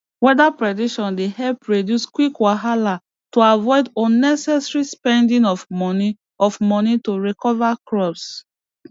weather prediction dey help reduce quick wahala to avoid unnecessary spending of moni of moni to recover crops